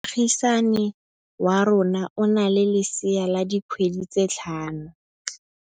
Moagisane wa rona o na le lesea la dikgwedi tse tlhano.